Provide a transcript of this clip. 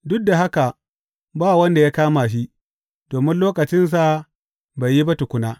Duk da haka ba wanda ya kama shi, domin lokacinsa bai yi ba tukuna.